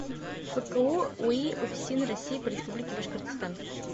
фку уи уфсин россии по республике башкортостан